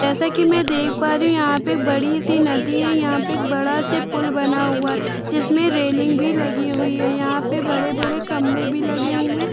जैसे की मै देख पा रही हू यहाँ पे बड़ी सी नदी है यहाँ पे एक बड़ा सा पूल बना हुआ है जिसमे रेलिंग भी लगी हुई है यहाँ पे बड़े-बड़े खंबे भी लगाए हूए है।